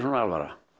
alvara